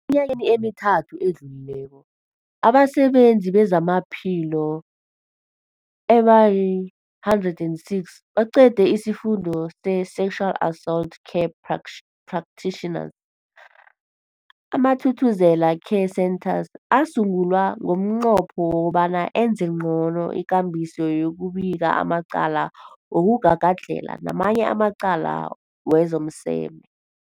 yakeni emithathu edluleko, abasebenzi bezamaphilo abali-106 baqede isiFundo se-Sexual Assault Care Pracs Practitioners. AmaThuthuzela Care Centres asungulwa ngomnqopho wokobana enze ngcono ikambiso yokubika amacala wokugagadlhela namanye amacala wezomseme.